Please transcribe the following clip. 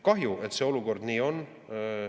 Kahju, et see olukord nii on.